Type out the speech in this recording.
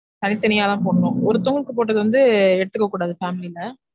தனி தனியா தான் போடனும் ஒருத்தவங்களுக்கு போட்டது வந்து எடுத்துக்ககூடாது family ல